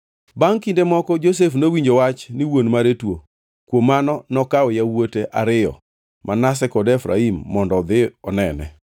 Bangʼ kinde moko Josef nowinjo wach ni wuon mare tuo, kuom mano nokawo yawuote ariyo Manase kod Efraim mondo odhi onene.